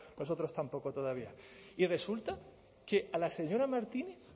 nosotros tampoco todavía y resulta que a la señora martínez